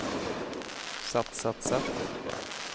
sett sett sett